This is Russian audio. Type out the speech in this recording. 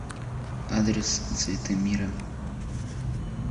адрес цветы мира